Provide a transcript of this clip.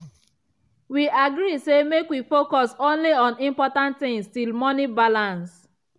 we agree say make we focus only on important things till money balance.